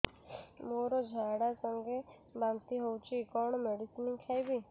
ମୋର ଝାଡା ସଂଗେ ବାନ୍ତି ହଉଚି କଣ ମେଡିସିନ ଖାଇବି